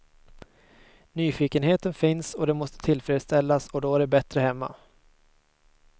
Nyfikenheten finns och den måste tillfredsställas och då är det bättre hemma.